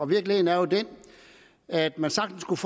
virkeligheden er jo den at man sagtens kunne